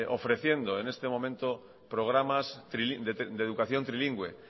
ofreciendo en este momento programas de educación trilingüe